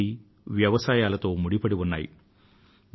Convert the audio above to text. ప్రకృతి వ్యవసాయాల తో ముడిపడి ఉన్నాయి